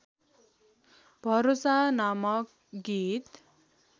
भरोसा नामक गीत